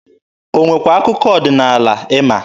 O nwekwa akụkọ ọdịnaala ịma?